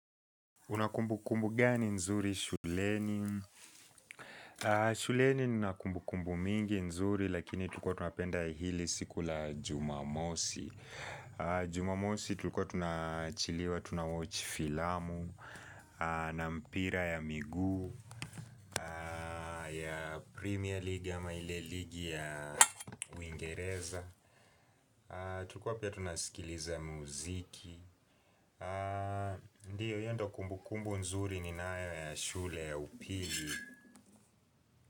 Unakumbukumbu gani nzuri shuleni? Shuleni ninakumbukumbu mingi nzuri lakini tulikua tunapenda hili siku la jumamosi. Jumamosi tulikua tunaachiliwa, tunawochi filamu, na mpira ya miguu, ya premier ligi ya ama ile ligi ya uingereza. Tulikua pia tunasikiliza muziki. Ndio hio ndo kumbukumbu nzuri ninayo ya shule ya upili.